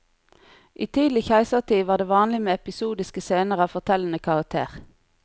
I tidlig keisertid var det vanlig med episodiske scener av fortellende karakter.